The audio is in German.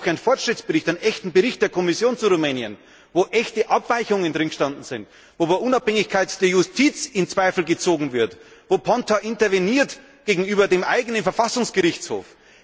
Da gab es diese Woche einen Fortschrittsbericht, einen echten Bericht der Kommission zu Rumänien, worin echte Abweichungen gestanden sind, wo die Unabhängigkeit der Justiz in Zweifel gezogen wird, wo Ponta interveniert gegenüber dem eigenen Verfassungsgerichtshof.